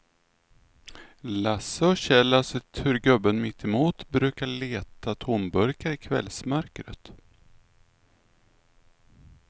Lasse och Kjell har sett hur gubben mittemot brukar leta tomburkar i kvällsmörkret.